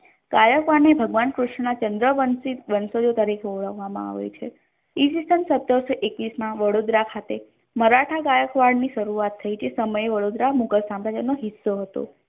ગાયકવાડ ને ભગવાન કૃષ્ણ ચંદ્રવંશી વંશયો ના વંશજો તરીકે ઓળખવામા આવે છે ઈસ્વીસન સત્તરસો ઈક્કીસ ના વડોદરા ખાતે મરાઠા ગાયકવાડ ની શરૂઆત થઇ જે સમયે વડોદરા મુઘલ સામ્રાજ્ય ના હિસ્સે હતુ.